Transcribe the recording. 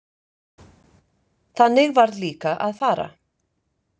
Þannig varð líka að fara.